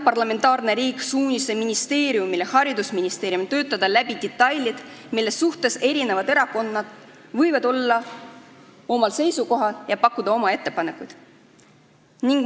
Parlamentaarne riik annab suunise ministeeriumile, st haridusministeeriumile, töötada läbi detailid, mille suhtes erinevad erakonnad võivad olla eri seisukohal, ja pakkuda oma ettepanekuid.